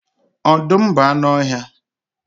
Ọdụm bụ anụ ọhịa.